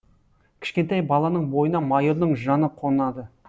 кішкентай баланың бойына майордың жаны қонады